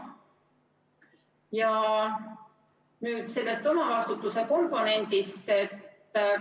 Ja nüüd sellest omavastutuse komponendist.